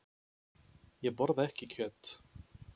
Ég borða ekki kjöt.